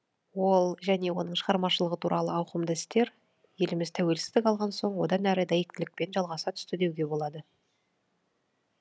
ол және оның шығармашылығы туралы ауқымды істер еліміз тәуелсіздік алған соң одан әрі дәйектілікпен жалғаса түсті деуге болады